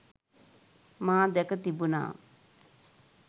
මා දැක තිබුනා